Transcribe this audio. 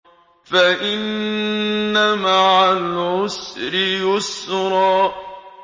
فَإِنَّ مَعَ الْعُسْرِ يُسْرًا